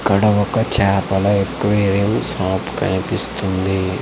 ఇక్కడ ఒక చేపల ఎక్వేరియం షాప్ కనిపిస్తుంది.